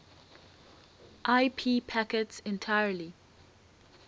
ip packets entirely